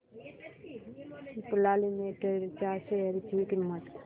Cipla limited च्या share ची किंमत